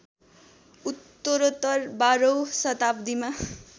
उत्तरोत्तर १२ औँ शताब्दीमा